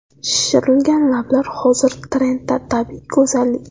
Shishirilgan lablar Hozir trendda tabiiy go‘zallik.